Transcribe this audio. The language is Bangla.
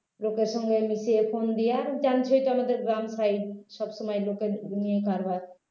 লোকের সঙ্গে মিশে phone দিয়ে জানছেই তো আমাদের গ্রাম side সব সময় লোককে নিয়ে কারবার